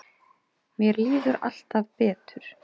Mér líður alltaf betur.